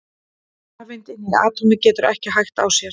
Rafeind inni í atómi getur ekki hægt á sér!